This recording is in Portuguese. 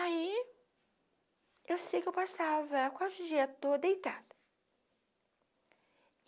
Aí, eu sei que eu passava quase o dia todo deitada.